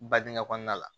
Badingɛ kɔnɔna la